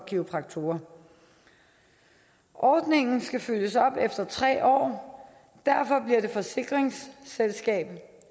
kiropraktorerne ordningen skal følges op efter tre år derfor bliver det forsikringsselskab